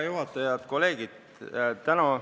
Head kolleegid!